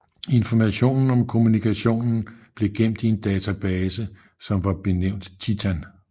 Informationen om kommunikationen blev gemt i en database som var benævnt Titan